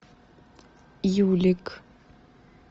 юлик